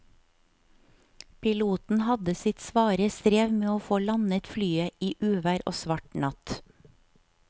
Piloten hadde sitt svare strev med å få landet flyet i uvær og svart natt.